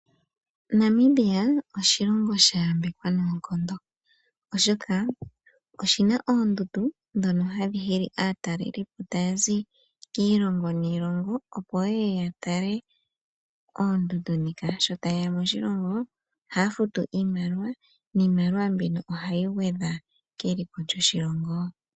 Namibia oshilongo sha yambekwa noonkondo, oshoka oshi na oondundu ndhono hadhi hili aatalelipo ta ya zi kiilongo niilongo opo ye ye ya tale oondundu ndhika. Sho ta ye ya moshilongo oha ya futu iimaliwa , niimaliwa mbino ohayi gwedha keliko lyoshilongo.